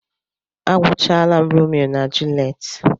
Agwuchaala m Romeo na Julet.